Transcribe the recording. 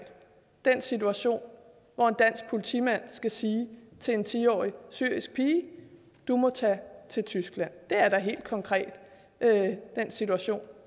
den situation hvor en dansk politimand skal sige til en ti årig syrisk pige du må tage til tyskland det er da helt konkret den situation